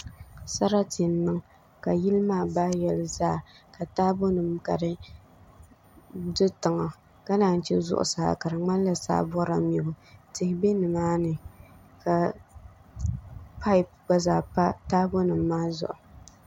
Sarati n niŋ ka yili maa bahi yoli zaa ka taabo nim ka di do tiŋa ka naan yi chɛ zuɣusaa ka di ŋmanila saa bɔrila mibu tihi bɛ nimaani ka paip gba zaa pa taabo nim maa zuɣu